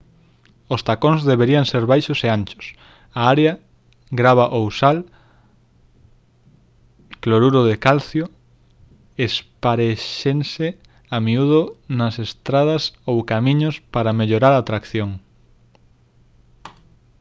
os tacóns deberían ser baixos e anchos. a area grava ou sal cloruro de calcio esparéxense a miúdo nas estradas ou camiños para mellorar a tracción